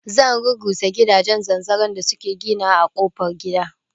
Zan rurrusa gidajen zanzaron da suke ginawa a kofar gida